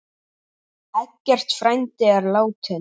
Eggert frændi er látinn.